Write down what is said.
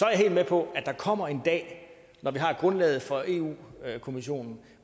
jeg helt med på at der kommer en dag når vi har grundlaget fra europa kommissionen